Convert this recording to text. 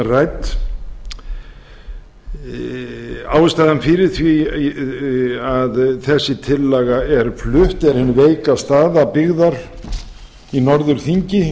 rædd ástæðan fyrir því að þessi tillaga er flutt er hin veika staða byggðar í norðurþingi